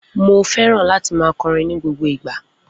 Mo feran láti ma kọrin ni gbogbo ìgba